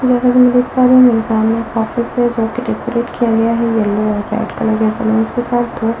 जैसा कि मैं देख पा रही हूं मेरे सामने एक ऑफिस है जोकि डेकोरेट किया गया है येलो और वाइट कलर्स के साथ --